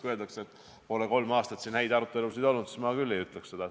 Kui öeldakse, et kolm aastat ei ole siin häid arutelusid olnud, siis mina küll seda ei ütleks.